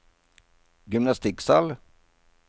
gymnastikksal